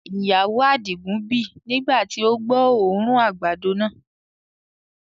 Ìyàwó adigun bì nigba ti o gbọ́ oòrùn àgbàdo náà.